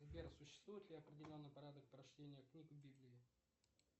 сбер существует ли определенный порядок прочтения книг в библии